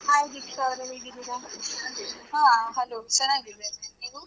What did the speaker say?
Hai Deeksha ಅವರೇ, ಹೇಗಿದ್ದೀರಾ?